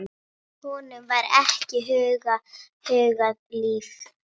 Honum var ekki hugað líf.